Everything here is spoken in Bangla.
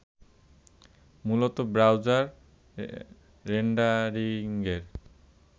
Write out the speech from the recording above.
মূলত ব্রাউজার রেন্ডারিঙের